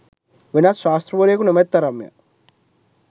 වෙනත් ශාස්තෲවරයකු නොමැති තරම් ය.